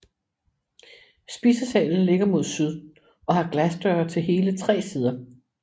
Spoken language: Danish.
Spisesalen ligger mod syd og har glasdøre til hele tre sider